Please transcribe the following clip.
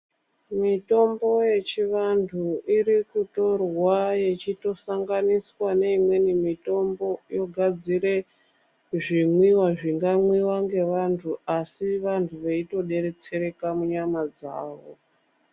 Mitombo yechivantu irikutorwa yechitosanganiswa neimweni mitombo yogadzire zvimwiwa zvingamwiwa ngevantu asi vantu veitodetsereka munyama dzavo.